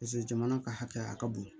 Paseke jamana ka hakɛ a ka bon